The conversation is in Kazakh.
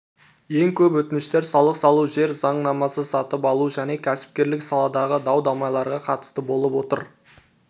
ең көп өтініштер салық салу жер заңнамасы сатып алу және кәсіпкерлік саладағы дау-дамайларға қатысты болып отыр